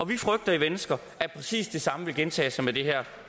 vi frygter i venstre at præcis det samme vil gentage sig med det her